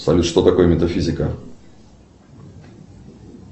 салют что такое метафизика